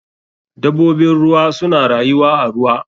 Dabobin ruwa suna rayuwa a ruwa.